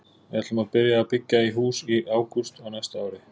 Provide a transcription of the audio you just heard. Við ætlum að byrja að byggja í hús í ágúst á næsta ári.